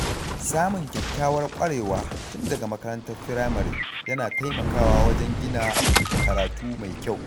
Samun kyakkyawar ƙwarewa tun daga makarantar firamare yana taimakawa wajen gina karatu mai kyau.